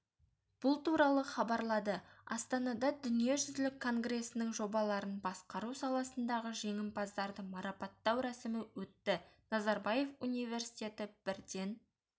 бұл туралы хабарлады астанада дүниежүзілік конгресінің жобаларын басқару саласындағы жеңімпаздарды марапаттау рәсімі өтті назарбаев университеті бірден